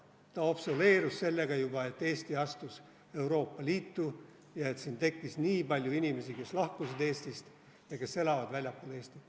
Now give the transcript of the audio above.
See vananes juba siis, kui Eesti astus Euroopa Liitu ja nii paljud inimesed lahkusid Eestist ja elavad väljaspool Eestit.